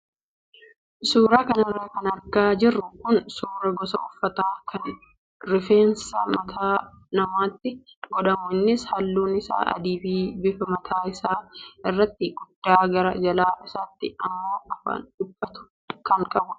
Suuraa kanarra kan argaa jirru kun suuraa gosa uffataa kan rifeensa mataa namaatti godhamu innis halluun isaa adii fi bifa mataa isaa irratti guddaa gara jala isaatti immoo afaan dhiphatu kan qabudha.